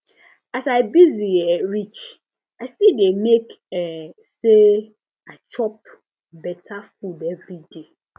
as i busy um reach i still dey make um say i chop better food every day